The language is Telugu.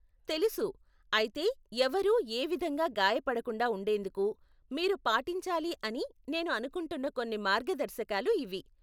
తెలుసు, అయితే ఎవరూ ఏ విధంగా గాయపడకుండా ఉండేందుకు మీరు పాటించాలి అని నేను అనుకుంటున్న కొన్ని మార్గదర్శకాలు ఇవి!